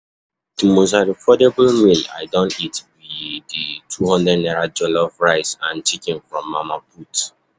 Di most affordable meal i don eat be di #200 jollof rice and chicken from Mama Put.